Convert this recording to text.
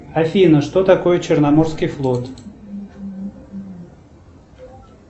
афина что такое черноморский флот